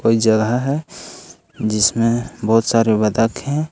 कोई जगह है जिसमें बहुत सारे बतख हैं।